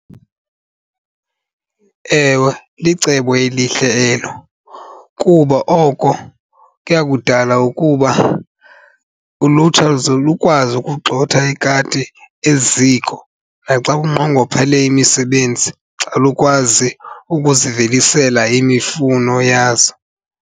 Ewe, licebo elihle elo kuba oko kuya kudala ukuba ulutsha luze lukwazi ukugxotha ikati eziko naxa kunqongophele imisebenzi xa lukwazi ukuzivelisela imifuno yazo.